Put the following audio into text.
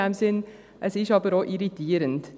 Es ist aber auch irritierend.